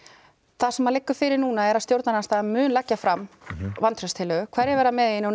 það sem liggur fyrir núna er að stjórnarandstaðan mun leggja fram vantrauststillögu hverjir verða með í henni og